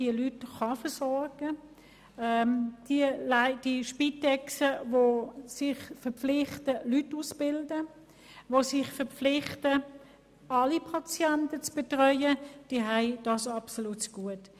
Die Spitexorganisationen, die sich verpflichten, Leute auszubilden und alle Patienten zu betreuen, haben diese absolut zugute.